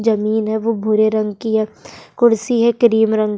जमीन है वो भूरे रंग की है कुर्सी है क्रीम रंग --